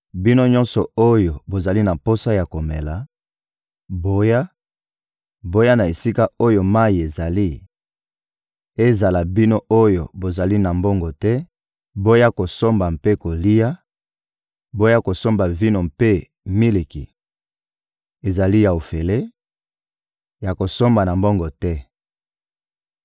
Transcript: «Bino nyonso oyo bozali na posa ya komela, boya, boya na esika oyo mayi ezali; ezala bino oyo bozali na mbongo te, boya kosomba mpe kolia; boya kosomba vino mpe miliki: ezali ya ofele, ya kosomba na mbongo te!